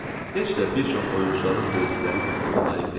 Heç də bir çox oyunçuların verdikləri diqqətə layiq deyil.